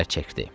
Çəkdi.